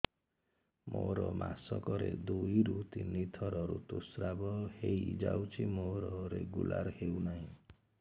ମୋର ମାସ କ ରେ ଦୁଇ ରୁ ତିନି ଥର ଋତୁଶ୍ରାବ ହେଇଯାଉଛି ମୋର ରେଗୁଲାର ହେଉନାହିଁ